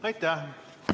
Aitäh!